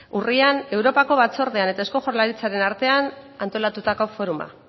urrian europako batzordean eta eusko jaurlaritzaren artean antolatutako foruma